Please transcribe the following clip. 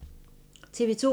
TV 2